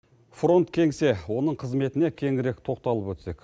фронт кеңсе оның қызметіне кеңірек тоқталып өтсек